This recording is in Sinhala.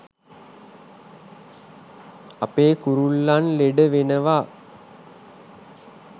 අපේ කුරුල්ලන් ලෙඩ වෙනවා.